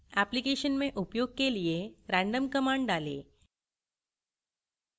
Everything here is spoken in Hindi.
application में उपयोग के लिए random command डालें